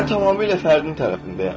Mən tamamilə fərdin tərəfindəyəm.